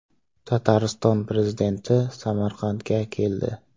Tatariston prezidenti Samarqandga keldi.